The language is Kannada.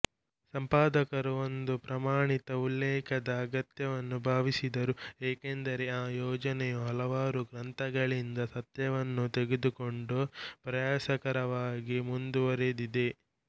ಸಂಪಾದಕರು ಒಂದು ಪ್ರಮಾಣಿತ ಉಲ್ಲೇಖದ ಅಗತ್ಯವನ್ನು ಭಾವಿಸಿದರು ಏಕೆಂದರೆ ಆ ಯೋಜನೆಯು ಹಲವಾರು ಗ್ರಂಥಾಲಯಗಳಿಂದ ಸತ್ಯವನ್ನು ತೆಗೆದುಕೊಂಡು ಪ್ರಯಾಸಕರವಾಗಿ ಮುಂದುವರೆದಿದೆ